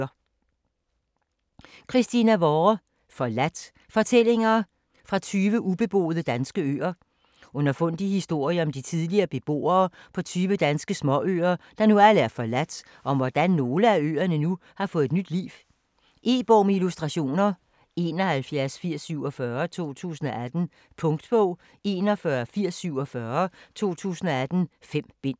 Vorre, Christina: Forladt: fortællinger fra 20 ubeboede danske øer Underfundige historier om de tidligere beboere på tyve danske småøer, der nu alle er forladt, og om hvordan nogle af øerne nu har fået nyt liv. E-bog med illustrationer 718047 2018. Punktbog 418047 2018. 5 bind.